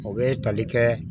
O bɛ tali kɛ